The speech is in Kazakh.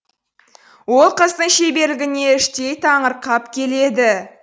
ол қыздың шеберлігіне іштей таңырқап келеді